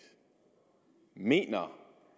mener